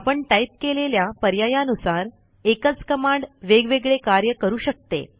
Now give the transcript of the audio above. आपण टाईप केलेल्या पर्यायानुसार एकच कमांड वेगवेगळे कार्य करू शकते